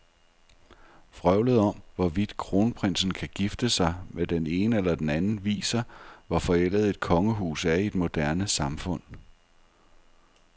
Vrøvlet om, hvorvidt kronprinsen kan gifte sig med den ene eller den anden, viser, hvor forældet et kongehus er i et moderne samfund.